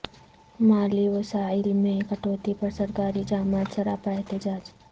مالی وسائل میں کٹوتی پر سرکاری جامعات سراپا احتجاج